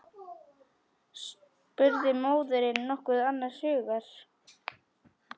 spurði móðirin nokkuð annars hugar.